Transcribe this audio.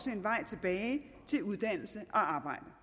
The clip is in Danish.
en vej tilbage til uddannelse og arbejde